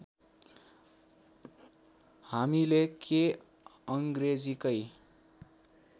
हामीले के अङ्ग्रेजीकै